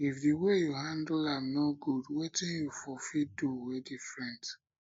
if di way yu handle am no gud wetin yu for fit do wey diffrent